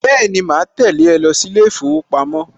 Bẹ́ẹ̀ni, màá tẹ̀lé ẹ lọ sí ilé ìfowópamọ́